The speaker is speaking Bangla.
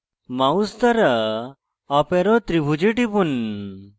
mouse দ্বারা up arrow ত্রিভুজে টিপুন